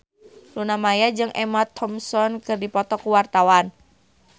Luna Maya jeung Emma Thompson keur dipoto ku wartawan